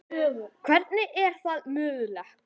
Hvernig er það mögulegt?